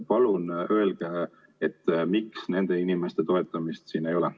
Palun öelge, miks nende inimeste toetamist siin ei ole.